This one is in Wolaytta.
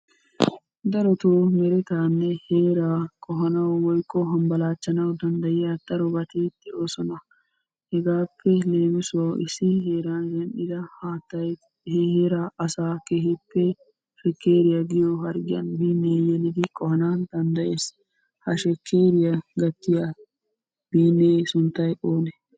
Darotoo meretaanne heeraa qohanawu woykko hambbalaachchanawu danddayiya darobati de'oosona. Hegaappe leemisuwawu issi heeran zin'ida haattay he heeraa asaa keehippe shekkeriya giyo harggiyan biinniya yelidi qohana danddayees. Ha shekkeriya gattiya biinnee sunttay one?